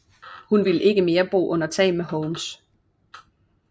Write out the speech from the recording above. Hun ville ikke mere bo under tag med Holmes